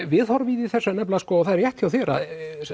viðhorfið í þessu er það er rétt hjá þér að